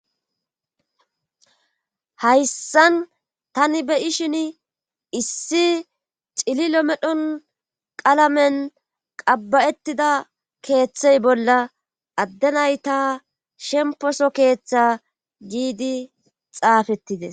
Hayssan tani beyi shin issi cililo medhon qalamen qabba7etida keeththey bolla addenay ta shemposo keeththe giidi xaafettide